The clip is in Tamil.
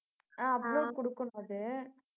அஹ் upload கொடுக்கணும் அது